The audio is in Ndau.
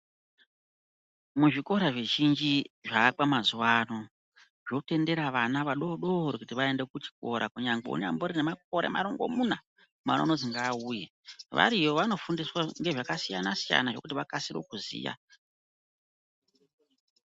Muzvikora zvizhinji zvapa mazuwa ano zvotendera kuti vana vadodori vaende kuzvikora kunyangwe unemakore marongomuna mwari anoti ngauye variyo vanofundiswa nezvakasiyana siyana zvekuti vakasire kuziya.